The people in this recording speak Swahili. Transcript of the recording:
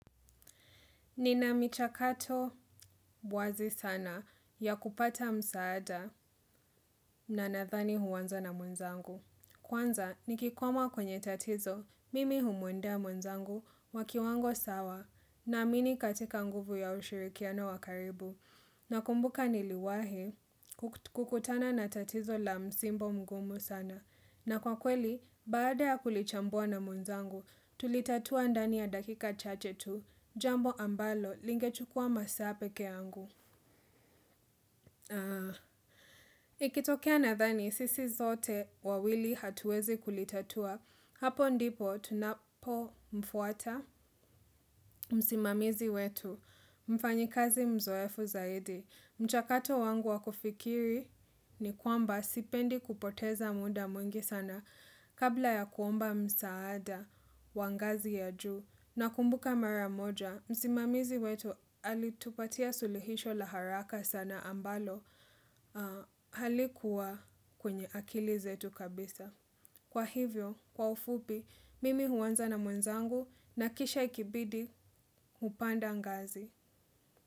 Nina michakato bwazi sana ya kupata msaada na nadhani huanza na mwenzangu. Kwanza nikikwama kwenye tatizo, mimi humwendea mwanzangu wa kiwango sawa naamini katika nguvu ya ushirikiano wakaribu. Nakumbuka niliwahi kukutana na tatizo la msimbo mgumu sana. Na kwa kweli, baada ya kulichambua na mwenzangu, tulitatua ndani ya dakika chache tu, jambo ambalo lingechukua masaa peke yangu. Ikitokea nadhani, sisi zote wawili hatuwezi kulitatua, hapo ndipo tunapo mfuata, msimamizi wetu, mfanyikazi mzoefu zaidi. Mchakato wangu wakufikiri ni kwamba sipendi kupoteza muda mwingi sana kabla ya kuomba msaada wa ngazi ya juu. Na kumbuka maramoja, msimamizi wetu alitupatia suluhisho la haraka sana ambalo halikuwa kwenye akili zetu kabisa. Kwa hivyo, kwa ufupi, mimi huanza na mwenzangu na kisha ikibidi, upanda ngazi.